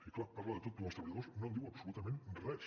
i clar parla de tot però dels treballadors no en diu absolutament res